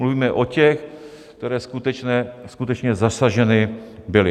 Mluvíme o těch, které skutečně zasaženy byly.